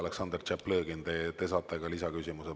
Aleksandr Tšaplõgin, te saate ka lisaküsimuse.